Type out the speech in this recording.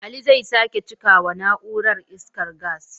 Ali zai sake cika wa na'urar, iskar gas.